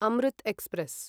Amrit express